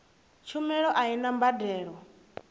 tshumelo a i na mbadelo